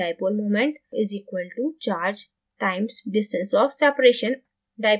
dipole moment μ = charge q times distance of separation r